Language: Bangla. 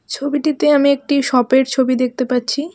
ছবিটিতে আমি একটি সপের ছবি দেখতে পাচ্ছি.